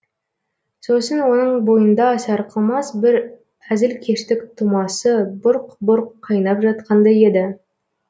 сосын оның бойында сарқылмас бір әзілкештік тұмасы бұрқ бұрқ қайнап жатқандай еді